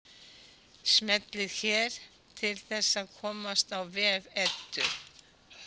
Smellið hér til að komast á vef Eddu.